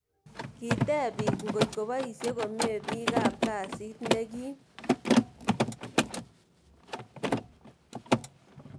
Kiteb biik ngotko boisye komie biikab kasiit nekiim